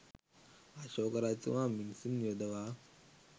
අශෝක රජතුමා මිනිසුන් යොදවා